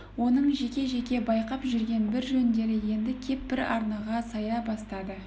оның жеке-жеке байқап жүрген бір жөндері енді кеп бір арнаға сая бастады